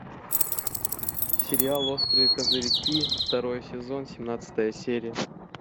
сериал острые козырьки второй сезон семнадцатая серия